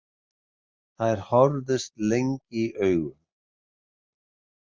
Þær horfðust lengi í augu.